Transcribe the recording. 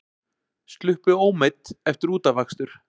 Sluppu ómeidd eftir útafakstur